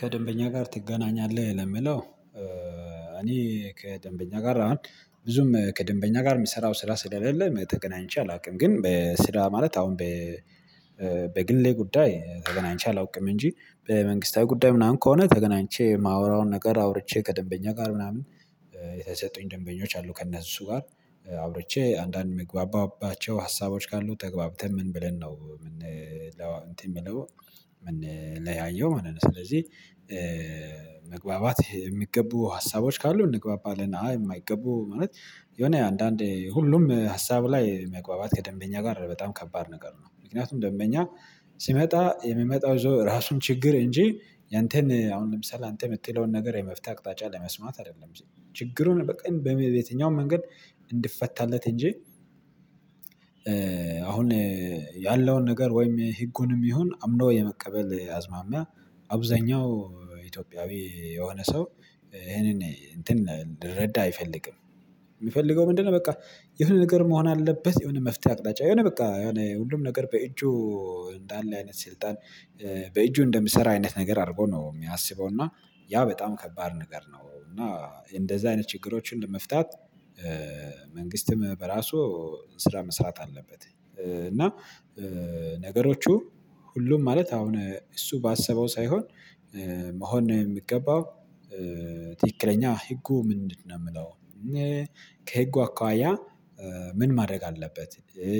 ከደንበኛ ጋር ትገናኛለህ ለምለው እኔ ከደንበኛ ጋር አሁን ብዙም ከደንበኛ ጋር የሚሰራው ስራ ስለሌለ ተገናኝቼ አላውቅም። ግን በስራ ማለት አሁን በግሌ ጉዳይ ተገናኝቼ አላውቅም እንጂ። በመንግስታዊ ጉዳይ ምናምን ከሆነ ተገናኝቼ የማወራውን ነገር አውርቼ ከደንበኛ ጋር ምናምን የተሰጡኝ ደንበኞች አሉ ከእነሱ ጋር አውርቼ አንዳንድ የምግባባቸው ሀሳቦች ካሉ ተግባብተን ምን ብለን ነው ምን እንትን የምለው ምንለያየው ማለት ነው። ስለዚህ መግባባት የሚገቡ ሀሳቦች ካሉ እንግባባለን አይ የማይገቡ ማለት የሆነ አንዳንዴ ሁሉም ሀሳብ ላይ መግባባት ከደንበኛ ጋር በጣም ከባድ ነገር ነው። ምክንያቱም ደንበኛ ሲመጣ የሚመጣው ራሱን ችግር እንጂ ያንተን አሁን ለምሳሌ አንተ የምትለውን ነገር የመፍትሄ አቅጣጫ ለመስማት አይደለም ችግሩን በቃ በሌሊት በየትኛውም መንገድ እንድፈታለት እንጂ። አሁን ያለውን ነገር ወይም ህጉንም ይሁን አምኖ የመቀበል አዝማሚያ አብዛኛው ኢትዮጵያዊ የሆነ ሰው ይሄንን እንትን ልረዳ አይፈልግም። የሚፈልገው ምንድነው? በቃ የሆነ ነገር መሆን አለበት የሆነ መፍትሄ አቅጣጫ የሆነ በቃ የሆነ ሁሉም ነገር በእጁ እንዳለ አይነት ስልጣን በእጁ እንደምሰራ አይነት ነገር አድርጎ ነው የሚያስበው እና ያ በጣም ከባድ ነገር ነው። እና እንደዚህ አይነት ችግሮችን ለመፍታት መንግስትም በራሱ ስራ መስራት አለበት እና ነገሮቹ ሁሉም ማለት አሁን እሱ ባሰበው ሳይሆን መሆን ነው የሚገባው። ትክክለኛ ህጉ ምንድነው የምለው ከህጉ አኳያ ምን ማድረግ አለበት።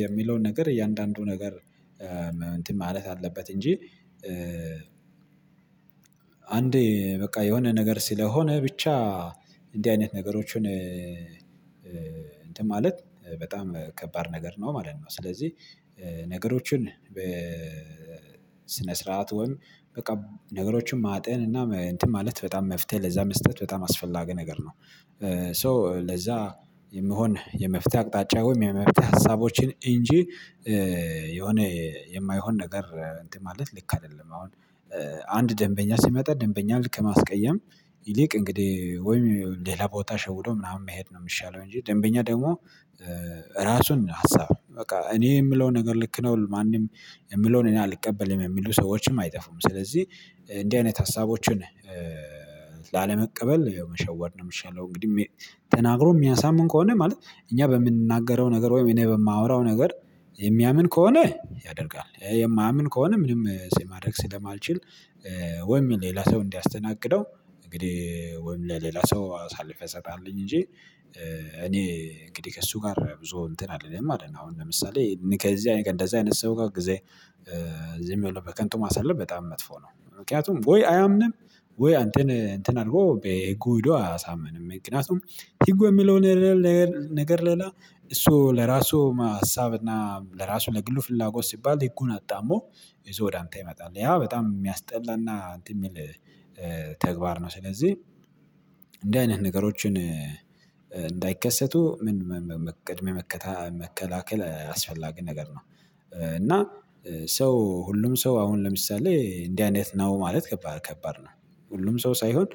የሚለውን ነገር እያንዳንዱ ነገር እንትን ማለት አለበት እንጂ። አንዴ በቃ የሆነ ነገር ስለሆነ ብቻ እንዲህ አይነት ነገሮችን እንትን ማለት በጣም ከባድ ነገር ነው ማለት ነው። ስለዚህ ነገሮችን በስነ ስርዓት ወይም በቃ ነገሮችን ማጠን እና እንትን ማለት በጣም መፍትሄ ለዛ መስጠት በጣም አስፈላጊ ነገር ነው። ሶ ለዛ የምሆን የመፍትሄ አቅጣጫ ወይም የመፍትሄ ሀሳቦችን እንጂ የሆነ የማይሆን ነገር እንትን ማለት ልክ አይደለም። አሁን አንድ ደንበኛ ሲመጣ ደንበኛ ልክ ማስቀየም ይልቅ እንግዲህ ወይም ሌላ ቦታ ሸውዶ ምናምን መሄድ ነው የሚሻለው። እንጂ ደንበኛ ደግሞ ራሱን ሀሳብ ነው በቃ እኔ የምለውን ነገር ልክ ነው ማንም የምለውን እኔና ልቀበል የሚሉ ሰዎችም አይጠፉም። ስለዚህ እንዲህ አይነት ሀሳቦችን ላለመቀበል ይሄው መሸወድ ነው የሚሻለው። እንግዲህ ተናግሮ የሚያሳምን ከሆነ ማለት እኛ በምንናገረው ነገር ወይም እኔ በማወራው ነገር የሚያምን ከሆነ ያደርጋል የማያምን ከሆነ ምንም ሲማድረግ ስለማልችል። ወይም ሌላ ሰው እንዲያስተናግደው እንግዲህ ወይም ለሌላ ሰው አሳልፈህ እሰጣለሁኝ እንጂ። እኔ እንግዲህ ከእሱ ጋር ብዙ እንትን አልልም አይደለም። አሁን ለምሳሌ ከዚህ አይነት ከዚህ አይነት ሰው ጋር ጊዜ እዚህ የሚሆነው በከንቱ ማሰለፍ በጣም መጥፎ ነው። ምክንያቱም ወይ አያምንም ወይ አንተን እንትን አድርጎ በህጉ ሄዶ አያሳምንም። ምክንያቱም ህጉ የሚለው ነገር ሌላ እሱ ለራሱ ሀሳብና ለራሱ ለግሉ ፍላጎት ሲባል ህጉን አጣሞ እዛው አንተ ይመጣል ያ በጣም የሚያስጠላና እንትን የሚል ተግባር ነው። ስለዚህ እንደዚህ አይነት ነገሮችን እንዳይከሰቱ ምን ቅድመ መከታ መከላከል አስፈላጊ ነገር ነው። እና ሰው ሁሉም ሰው አሁን ለምሳሌ እንዲህ አይነት ነው ማለት ከባድ ከባድ ነው። ሁሉም ሰው ሳይሆን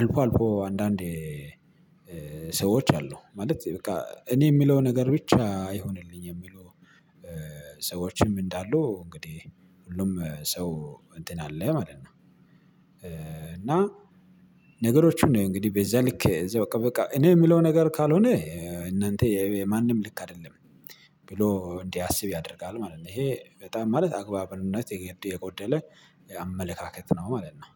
አልፎ አልፎ አንዳንዴ ሰዎች አሉ ማለት በቃ እኔ የሚለው ነገር ብቻ ይሁንልኝ የሚሉ ሰዎችም እንዳሉ እንግዲህ ሁሉም ሰው እንትን አለ ማለት ነው። እና ነገሮቹን እንግዲህ በዛ ልክ እዛ በቃ እኔ የምለው ነገር ካልሆነ እናንተ የማንም ልክ አይደለም ብሎ እንዲያስብ ያደርጋል ማለት ነው። ይሄ በጣም ማለት አግባብነት የጎደለ አመለካከት ነው ማለት ነው።